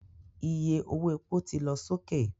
Iye owó epo ti lọ sókè